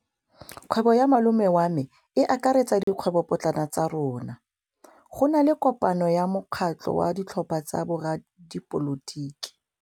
Kgwêbô ya malome wa me e akaretsa dikgwêbôpotlana tsa rona. Go na le kopanô ya mokgatlhô wa ditlhopha tsa boradipolotiki.